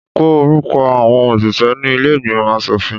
Kọ orúkọ àọn òṣìṣẹ́ ní ilé ìgbìmọ̀ aṣòfin.